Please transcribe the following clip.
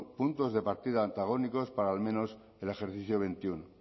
puntos de partida antagónicos para al menos el ejercicio veintiuno